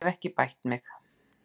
Ég hef ekki bætt mig.